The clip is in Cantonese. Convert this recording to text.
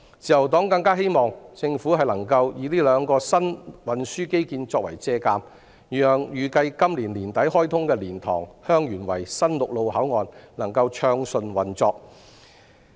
自由黨更加希望政府能以這兩個新運輸基建作借鑒，讓預計會在今年年底開通的蓮塘/香園圍新陸路口岸能夠暢順運作。